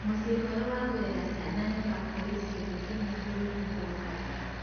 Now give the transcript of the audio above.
Mũciĩ mwerũ wa kũrera ciana nĩ ũgwakwo gĩcigo-inĩ kĩmwe bũrũri-inĩ wa Uganda